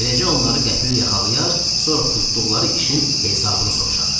Beləcə onları qəfil yaxalayarıq, sonra tutduqları işin hesabını soruşarıq.